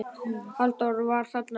Halldór var þarna alltaf.